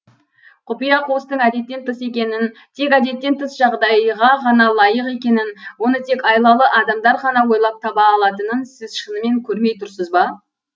құпия қуыстың әдеттен тыс екенін тек әдеттен тыс жағдайға ғана лайық екенін оны тек айлалы адамдар ғана ойлап таба алатынын сіз шынымен көрмей тұрсыз ба